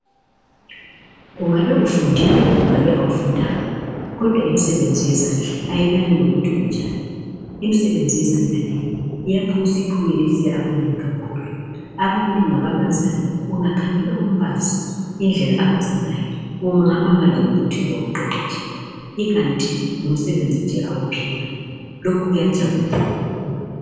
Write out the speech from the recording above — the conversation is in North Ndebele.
Kungabe ufundile, kungabe kawufundanga, kodwa imisebenzi yezandla leyi, kayilani lokuthi unjani. lmisebenzi yezandla leyi, isiphumelelise abanengi. Abanengi ababazayo, ungakhangela umbazi, ungaphosa uthi ngumsebenzi awuqeqetshelayo. Kanti ngumsebenzi nje awuphiwayo.